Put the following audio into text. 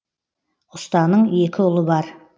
ұстаның екі ұлы бар